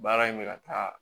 Baara in bɛ ka taa